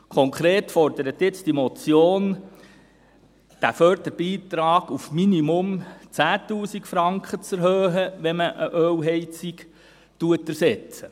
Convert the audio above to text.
Konkret fordert diese Motion jetzt, den Förderbeitrag auf mindestens 10 000 Franken zu erhöhen, wenn man eine Ölheizung ersetzt.